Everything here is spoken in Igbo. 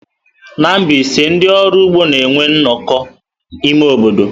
Na Mbaise, ndị ọrụ ụgbọ na-enwe nnọkọ ime obodo.